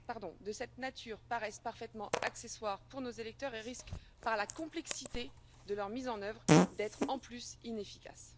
Les textes de cette nature paraissent parfaitement accessoires pour nos électeurs et risquent, par la complexité de leur mise en œuvre, d'être en plus inefficaces.